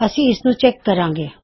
ਅਸੀਂ ਇਸਨੂੰ ਚੈੱਕ ਕਰਾਂਗੇ